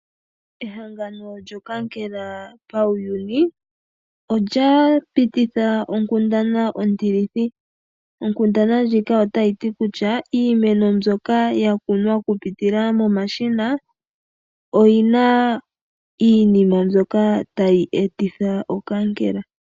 Ehangano lyokankela pawuyuni olya pititha onkundana ontilithi, onkundana ndjika ota yiti kutya iimeno mbyoka yakunwa kupitila momashina, oyina iinima mbyoka tayi etitha okankela.